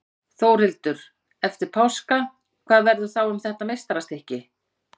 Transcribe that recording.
Þórhildur: Eftir páska, hvað verður þá um þetta meistarastykki?